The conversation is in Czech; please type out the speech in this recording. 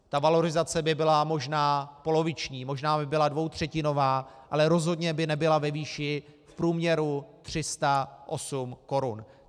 Ta valorizace by byla možná poloviční, možná by byla dvoutřetinová, ale rozhodně by nebyla ve výši v průměru 308 korun.